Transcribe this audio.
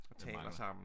Mangler